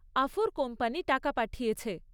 আফুর company টাকা পাঠিয়েছে।